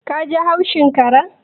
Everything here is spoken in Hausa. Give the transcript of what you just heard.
Ka ji haushin karen